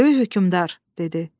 Böyük hökmdar, dedi.